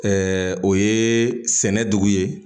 o ye sɛnɛ dugu ye